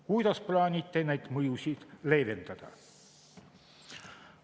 Kuidas plaanite neid mõjusid leevendada?